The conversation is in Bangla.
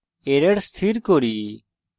error স্থির করি